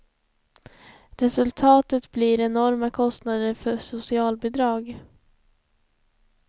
Resultatet blir enorma kostnader för socialbidrag.